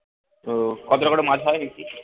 তো কতটা করে মাছ হয় বিক্রি